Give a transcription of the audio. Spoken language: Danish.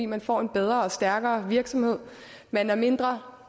man får en bedre og stærkere virksomhed man er mindre